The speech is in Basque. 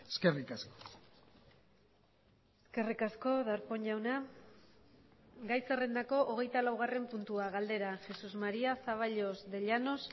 eskerrik asko eskerrik asko darpón jauna gai zerrendako hogeitalaugarren puntua galdera jesús maría zaballos de llanos